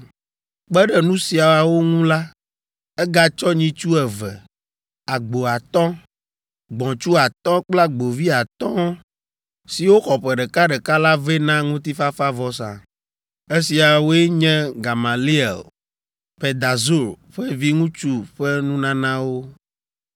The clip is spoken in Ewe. Kpe ɖe nu siawo ŋu la, egatsɔ nyitsu eve, agbo atɔ̃, gbɔ̃tsu atɔ̃ kple agbovi atɔ̃ siwo xɔ ƒe ɖekaɖeka la vɛ na ŋutifafavɔsa. Esiawoe nye Gamaliel, Pedahzur ƒe viŋutsu ƒe nunanawo.